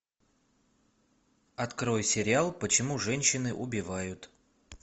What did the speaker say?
открой сериал почему женщины убивают